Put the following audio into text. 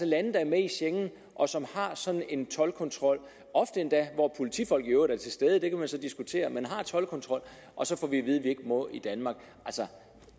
lande der er med i schengen og som har sådan en toldkontrol ofte endda hvor politifolk i øvrigt er til stede det kan man så diskutere men man har toldkontrol og så får vi at vide at vi ikke må i danmark